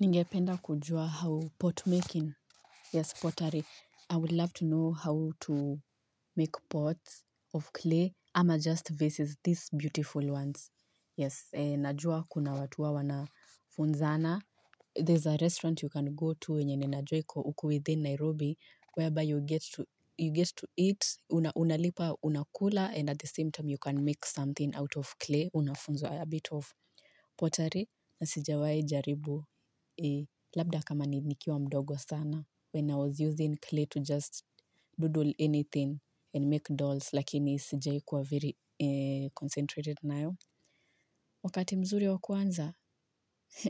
Ningependa kujua au pot making. Yes, pottery. I would love to know how to make pots of clay, ama just vases, these beautiful ones. Yes, najua kuna watu huwa wanafunzana. There's a restaurant you can go to wenye ninajua iko uku within Nairobi, where by you get to eat. Unalipa, unakula, and at the same time you can make something out of clay. Unafunzwa a bit of pottery. Na sijawahi jaribu labda kama nikiwa mdogo sana. When I was using clay to just doodle anything and make dolls, lakini sijai kuwa very concentrated nayo. Wakati mzuri wa kuanza,